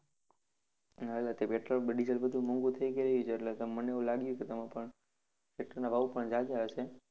હા petrol, diesel બધું મોંઘુ થઇ ગયુ છે એટલે મને એવુ લાગ્યું કે તમે પણ tractor ના ભાવ પણ જાજા હશે.